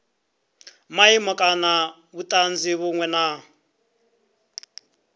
maimo kana vhutanzi vhunwe na